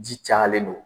Ji cayalen don